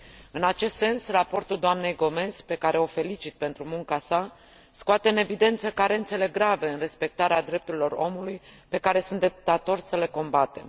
În acest sens, Raportul doamnei Gomes, pe care o felicit pentru munca sa, scoate în evidență carențele grave în respectarea drepturilor omului, pe care suntem datori să le combatem.